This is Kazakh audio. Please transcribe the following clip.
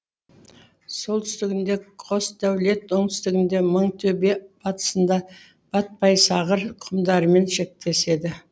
солтүстігінде қосдәулет оңтүстігінде мыңтөбе батысында батпайсағыр құмдарымен шектеседі